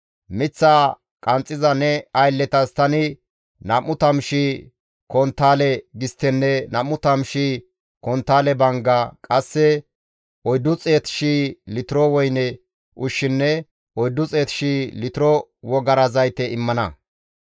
Miththaa qanxxiza ne aylletas tani 20,000 konttaale gisttenne 20,000 konttaale bangga, qasse 400,000 litiro woyne ushshinne 400,000 litiro wogara zayte immana.»